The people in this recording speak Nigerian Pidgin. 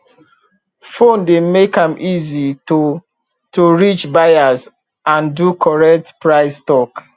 phone dey make am easy to to reach buyers and do correct price talk